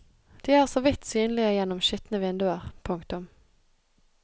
De er så vidt synlige gjennom skitne vinduer. punktum